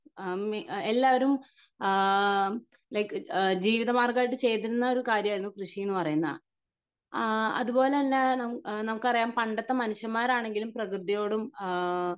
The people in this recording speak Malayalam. അഹമ് എല്ലാവരും ആഹ്മ് ലൈക് ജീവിതമാർഗം ആയിട്ട് ചെയ്തിരുന്ന ഒരു കാര്യം ആയിരുന്നു കൃഷിന്ന് പറയുന്നത് ആഹ് അതുപോലെതന്നെ നമുക്കറിയാം പണ്ടത്തെ മനുഷ്യന്മാരാണെങ്കിലും പ്രകൃതിയോടും ഏഹ്മ്